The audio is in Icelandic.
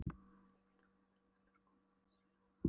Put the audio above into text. Sæll, Gylfi, þetta er Urður, konan hans séra Aðal